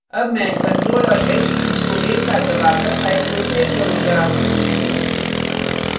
अब मैं control और s कीज को एक साथ दबाकर file को सेव करुँगा